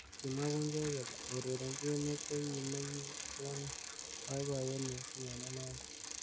Kimwa Bungei kole aurerenchi emet ko ki nekikon boiboyet missing eng inendet.